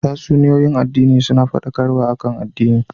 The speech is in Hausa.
Tatsuniyoyin addini suna fadakarwa akan addini